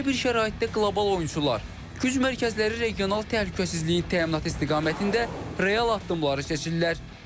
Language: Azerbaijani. Belə bir şəraitdə qlobal oyunçular, güc mərkəzləri regional təhlükəsizliyin təminatı istiqamətində real addımları seçirlər.